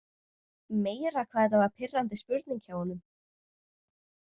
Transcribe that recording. Meira hvað þetta var pirrandi spurning hjá honum.